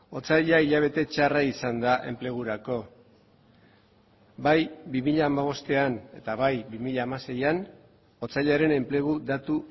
otsaila hilabete txarra izan da enplegurako bai bi mila hamabostean eta bai bi mila hamaseian otsailaren enplegu datu